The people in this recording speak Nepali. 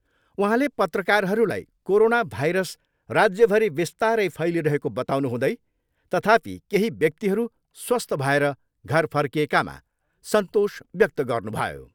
उहाँले पत्रकारहरूलाई कोरोना भाइरस राज्यभरि बिस्तारै फैलिरहेको बताउनुहुँदै, तथापि, केही व्यक्तिहरू स्वस्थ भएर घर फर्किएकामा सन्तोष व्यक्त गर्नुभयो।